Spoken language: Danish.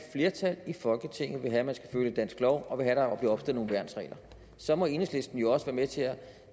flertal i folketinget vil have man skal følge dansk lov og vil have opstillet nogle værnsregler så må enhedslisten jo også være med til at